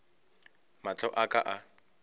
mahlo a ka a ka